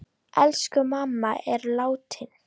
Elsku mamma er látin.